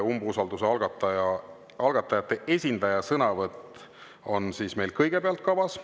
Umbusalduse algatajate esindaja sõnavõtt on meil kõigepealt kavas.